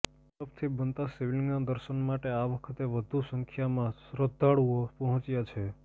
બરફથી બનતા શિવલિંગના દર્શન માટે આ વખતે વધુ સંખ્યામાં શ્રદ્ધાળુઓ પહોંચ્યા છે